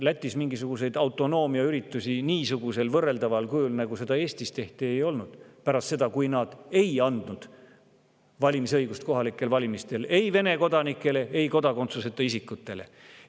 Lätis mingisuguseid autonoomiaüritusi niisugusel võrreldaval kujul, nagu seda Eestis tehti, ei olnud pärast seda, kui nad ei andnud valimisõigust kohalikel valimistel ei Vene kodanikele ega kodakondsuseta isikutele.